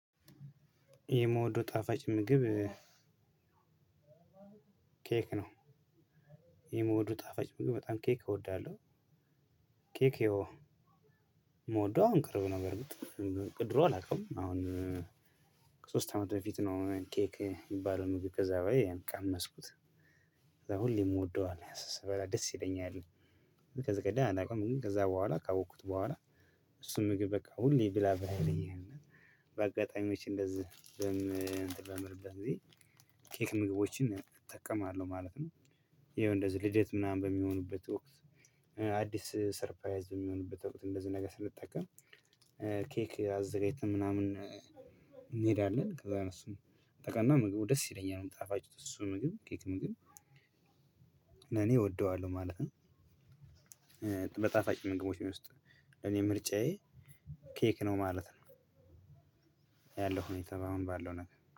የምወደው ጣፋጭ ምግብ ኬክ ነው። የመውደው ጣፋጭ ምግብ በጣም ኬክ እወዳለሁ። ኬክ ይሀው የምወደው አሁን ቅርብ ነገር ነው። ከድሮ አላውቅም አሁን ከሶስት አመት በፊት ነው ኬክ የሚባለውን ምግብ ከዛ በላይ ቀመስኩት። ከዛ ሁሌ የምወደው አለ ስበላ ደስ ይለኛል። ከዚህ ቀደም አላውቅም ከዛ በኋላ ካወቅኩት በኋላ። እሱን ምግብ በቃ ሁሌ ብላ ብላ ይለኛልና። በአጋጣሚዎች እንደዚህ በምልበት ጊዜ ኬክ ምግቦችን እጠቀማለሁ ማለት ነው። ይሄው እንደዚህ ልደት ምናምን በሚሆኑበት ወቅት አዲስ ሰርፓይዝ በሚሆኑበት ወቅት እንደዚህ ነገር ስንጠቀም። ኬክ አዘጋጅተን ምናምን እንሄዳለን ከዛ እሱን ጠቅላላ ምግቡ ደስ ይለኛል ጣፋጭ እሱ ምግብ ኬክ ምግብ ለኔ እወደዋለሁ ማለት ነው። በጣፋጭ ምግቦች ውስጥ እኔ ምርጫዬ ኬክ ነው ማለት ነው። ያለው ሁኔታ በአሁን ባለው ነገር